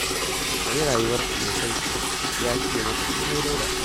Ka yi rayuwarka mai sauƙi ya fiye maka komai Dauda